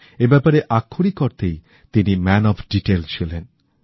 এই ব্যাপারে আক্ষরিক অর্থেই তিনি ম্যান অফ ডিটেইল ছিলেন